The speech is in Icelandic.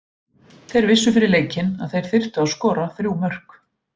Þeir vissu fyrir leikinn að þeir þyrftu að skora þrjú mörk.